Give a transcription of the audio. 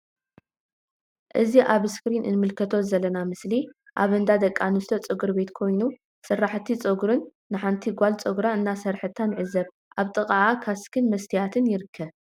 እዚ ኣብ እስክሪን እንምልከቶ ዘለና ምስሊ ኣብ እንዳ ደቂ ኣንስትዮ ጸጉሪ ቤት ኮይኑ ሰራሒት ጸጉሪ ን ሓንቲ ጋል ጸጉራ እናሰርሐታ ንዕዘብ ኣብ ጥቅኣ ካስክ ን መስተያትን ይርከብ።